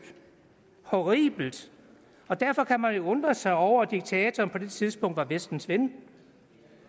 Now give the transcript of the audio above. og horribelt derfor kan man jo undre sig over at diktatoren på det tidspunkt var vestens ven